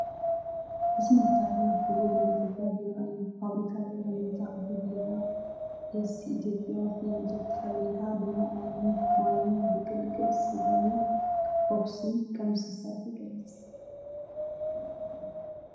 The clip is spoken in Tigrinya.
እዚ ሜታ ቢር ህቡብ ናይ ኢትዮጵያ ቢራ እዩ። ፋብሪካ ቢራ ሜታ ኣቦ ቢራ ኤስ.ሲ. ኢትዮጵያ ናይ ምልክት ሓበሬታ ብማይ ዓይኒ ማይን ብቅልቅል ስገምን ሆፕስን ከም ዝተሰርሐ ይገልፅ።